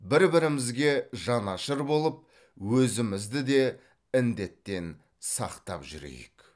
бір бірімізге жанашыр болып өзімізді де індеттен сақтап жүрейік